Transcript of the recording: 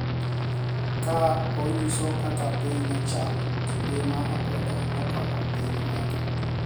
Ka onyiso kaka piny ne chal kinde ma akwede ne okwako piny Amerka.